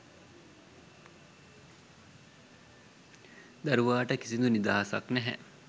දරුවාට කිසිඳු නිදහසක් නැහැ.